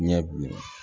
Ɲɛ bilen